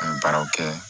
An ye baaraw kɛ